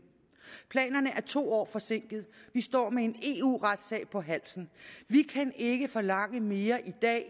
planerne er to år forsinket vi står med en eu retssag på halsen vi kan ikke forlange mere i dag